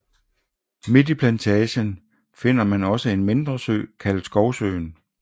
Midt i Plantagen finder man også en mindre sø kaldet Skovsøen